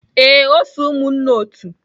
Ee, o so umunna otu.